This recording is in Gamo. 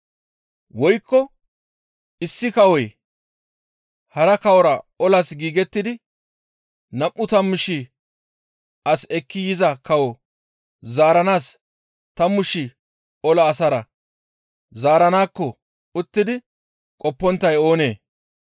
«Woykko issi kawoy hara kawora olas giigettidi nam7u tammu shii as ekki yiza kawo zaaranaas tammu shii ola asara zaaranaakko uttidi qopponttay oonee?